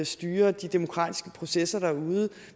styrer de demokratiske processer derude